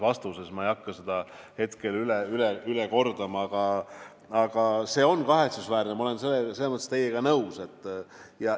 Ma ei hakka seda üle kordama, aga see on kahetsusväärne, ma olen selles mõttes teiega nõus.